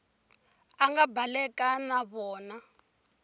a nga baleka na vona